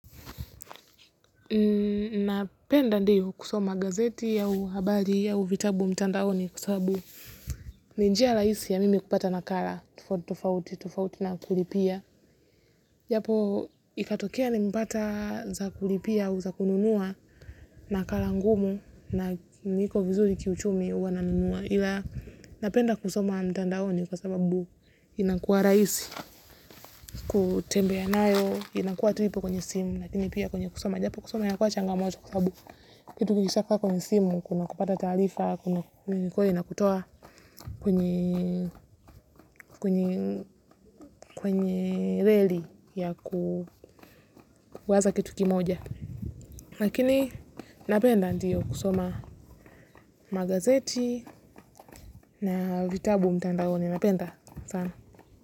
Napenda ndiyo kusoma gazeti au habari au vitabu mtandaoni kwa sababu ni njia rahisi ya mimi kupata nakala tofauti na kulipia. Japo ikatokea ni mpata za kulipia au za kununua nakala ngumu na niko vizuri kiuchumi huwa nanunua. Ila napenda kusoma mtandaoni kwa sababu inakua rahisi, kutembea nayo, inakua tu ipo kwenye simu. Lakini pia kwenye kusoma. Japo kusoma inakua changamoto sababu kitu kikisha kaa kwenye simu. Kuna kupata taarifa, ilikuwa inakutoa kwenye reli ya kuwaza kitu kimoja. Lakini napenda ndiyo kusoma magazeti na vitabu mtandaoni napenda sana.